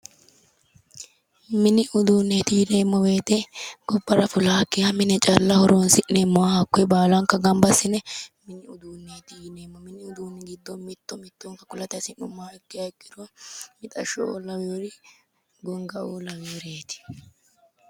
mini uduunneeti yineemmo wote gobbara fulaakkiha mine calla horonsi'neemmoha hakkoye baalanka gamba assine mini uduunneeti yineemmo hakkunni giddono mitto mitto kulate hasi'nummoha ikkiha ikkiro mixasshho''oo laweeri gongaaoo laweereeti.